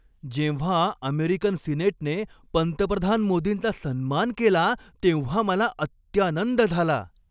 जेव्हा अमेरिकन सिनेटने पंतप्रधान मोदींचा सन्मान केला तेव्हा मला अत्यानंद झाला.